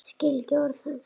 Skil ekki orð hans.